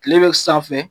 Kile bɛ sanfɛ